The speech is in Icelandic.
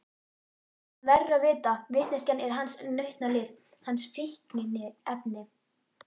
Hann verður að vita, vitneskjan er hans nautnalyf, hans fíkniefni.